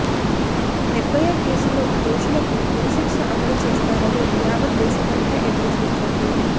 నిర్భయ కేసులో దోషులకు ఉరి శిక్ష అమలు చేస్తారని యావత్ దేశమంతా ఎదురు చూస్తోంది